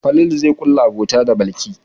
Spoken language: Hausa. Falalu zai ƙulla abota da Balki.